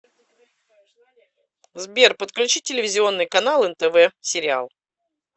сбер подключи телевизионный канал нтв сериал